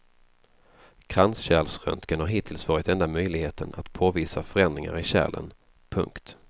Kranskärlsröntgen har hittills varit enda möjligheten att påvisa förändringar i kärlen. punkt